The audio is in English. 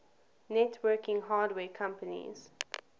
networking hardware companies